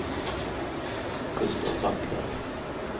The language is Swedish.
Gustaf Backlund